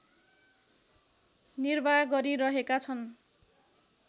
निर्वाह गरिरहेका छन्